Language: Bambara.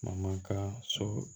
Maka so